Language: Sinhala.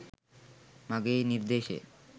මගේ නිර්දේශය.